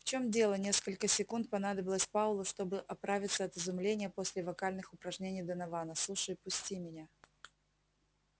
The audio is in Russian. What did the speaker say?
в чем дело несколько секунд понадобилось пауэллу чтобы оправиться от изумления после вокальных упражнений донована слушай пусти меня